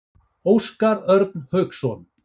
Óskar Örn Hauksson.